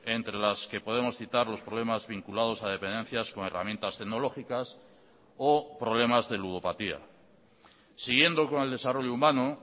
entre las que podemos citar los problemas vinculados a dependencias con herramientas tecnológicas o problemas de ludopatía siguiendo con el desarrollo humano